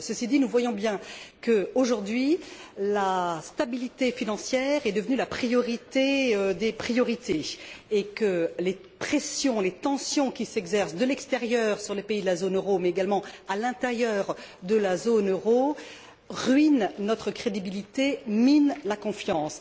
Ceci dit, nous voyons bien que, aujourd'hui, la stabilité financière est devenue la priorité des priorités et que les pressions, les tensions qui s'exercent de l'extérieur sur les pays de la zone euro, mais également à l'intérieur de la zone euro, ruinent notre crédibilité et minent la confiance.